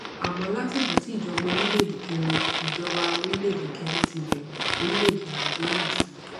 àmó látìgbà tí ìjọba orílèèdè kẹrin ìjọba orílèèdè kẹrin ti bèrè orílèèdè nàìjíríà ti